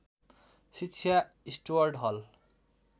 शिक्षा स्टुअर्ट हल